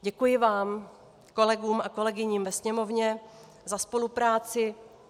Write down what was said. Děkuji vám, kolegům a kolegyním v Sněmovně, za spolupráci.